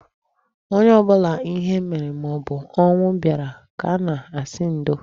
Onye ọbụla ihe mere maobụ ọnwụ bịara ka a na-asị ndo